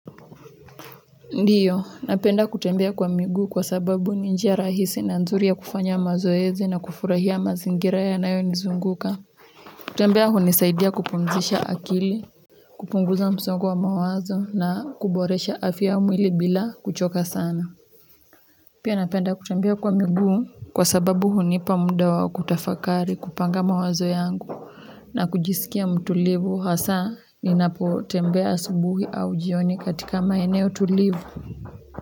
Ndiyo, napenda kutembea kwa miguu kwa sababu ni njia rahisi na nzuri ya kufanya mazoezi na kufurahia mazingira yanayonizunguka kutembea hunisaidia kupumzisha akili, kupunguza msongo wa mawazo na kuboresha afya ya mwili bila kuchoka sana pia napenda kutembea kwa migu kwa sababu hunipa muda wa kutafakari kupanga mawazo yangu. Na kujisikia mtulivu hasa ninapo ltembea asubuhi au jioni katika maeneo tulivu.